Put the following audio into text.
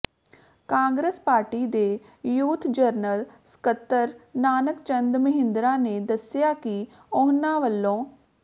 Congress party ਦੇ youth general ਸਕੱਤਰ ਨਾਨਕ ਚੰਦ ਮਹਿੰਦਰਾ ਨੇ ਦੱਸਿਆ ਕਿ ਉਨ੍ਹਾਂ ਵੱਲੋ